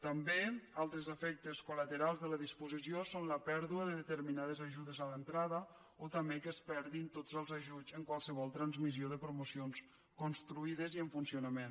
també altres efectes col·laterals de la disposició són la pèrdua de determinades ajudes a l’entrada o també que es perdin tots els ajuts en qualsevol transmissió de promocions construïdes i en funcionament